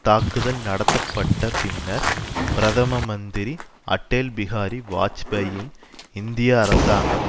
தாக்குதல் நடத்தப்பட்ட பின்னர் பிரதம மந்திரி அட்டேல் பிகாரி வாஜ்பாயின் இந்திய அரசாங்கம்